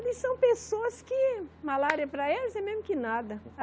Eles são pessoas que, malária para elas é o mesmo que nada.